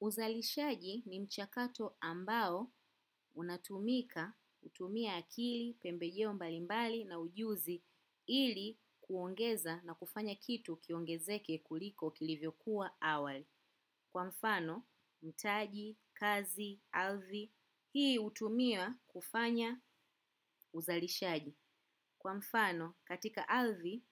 Uzalishaji ni mchakato ambao unatumika hutumia akili, pembejeo mbalimbali na ujuzi ili kuongeza na kufanya kitu kiongezeke kuliko kilivyo kuwa awali. Kwa mfano taji kazi ardhi hii hutumia kufanya uzalishaji. Kwa mfano katika ardhi